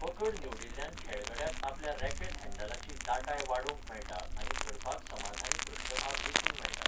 पकड निवडिल्ल्यान खेळगड्याक आपल्या रॅकेट हँडलाची दाटाय वाडोवंक मेळटा आनी धरपाक समाधानी पृष्ठभाग वेंचूंक मेळटा.